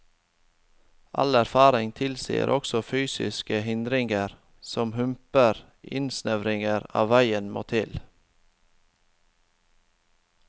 All erfaring tilsier at også fysiske hindringer, som humper eller innsnevringer av veien, må til.